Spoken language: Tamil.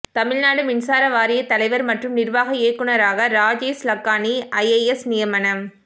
தமிழ்நாடு மின்சார வாரிய தலைவர் மற்றும் நிர்வாக இயக்குநராக ராஜேஷ் லக்கானி ஐஏஎஸ் நியமனம்